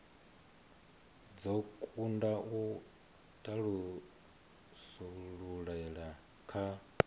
dzo kunda u thasululea kha